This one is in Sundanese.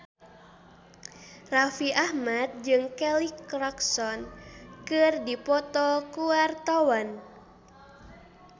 Raffi Ahmad jeung Kelly Clarkson keur dipoto ku wartawan